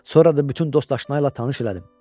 Sonra da bütün dostaşnayıla tanış elədim.